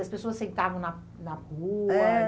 As pessoas sentavam na na rua? Eh.